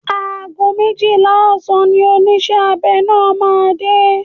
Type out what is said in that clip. Ago méjìlá ọ̀sán ni oníṣẹ́ abẹ náà máa dé.